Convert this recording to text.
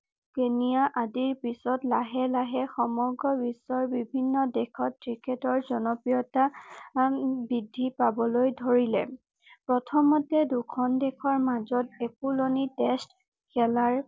আদিৰ পিছত লাহে লাহে সমগ্ৰ বিশ্বৰ বিভিন্ন দেশত ক্ৰিকেটৰ জনপ্ৰিয়তা বৃদ্ধি পাবলৈ ধৰিলে প্ৰথমতে দুখন দেশৰ মাজত একুলনি টেষ্ট খেলাৰ